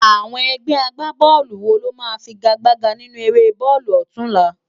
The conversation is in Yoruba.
Awòn ègbè ágbábòlú wó ló má figágbágá ninú éré bólú òtúnlá?